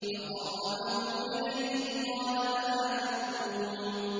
فَقَرَّبَهُ إِلَيْهِمْ قَالَ أَلَا تَأْكُلُونَ